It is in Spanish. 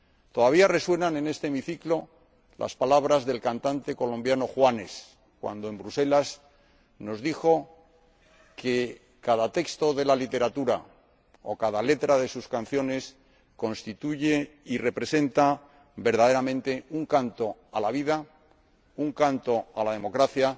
Todavía resuenan en este Hemiciclo las palabras del cantante colombiano Juanes, cuando en Bruselas nos dijo que cada texto de la literatura o cada letra de sus canciones constituye y representa verdaderamente un canto a la vida, un canto a la democracia.